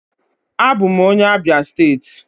Abụ m onye Abia steeti.